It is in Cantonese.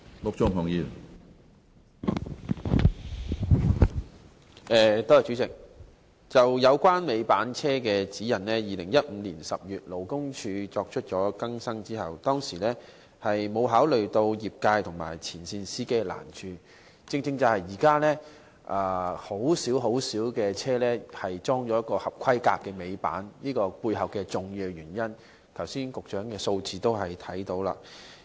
有關貨車尾板的《指引》，勞工處在2015年10月作出更新時，並沒有考慮到業界和前線司機的難處，這是現時只有很少貨車已裝設合規格尾板的一個重要原因，這從剛才局長提供的數字亦可以看到。